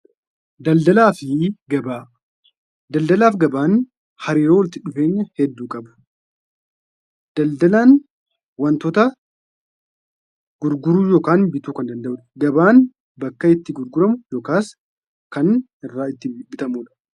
Daldalaa fi Gabaa: Daldalaa fi gabaan hariiroo walitti dhufeenya hedduu qabu. Daldalaan wantoota gurguruu yookaan bituu kan danda'udha. Gabaan bakka itti gurguramu yookaas kan irraa bitamudha.